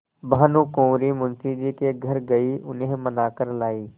भानुकुँवरि मुंशी जी के घर गयी उन्हें मना कर लायीं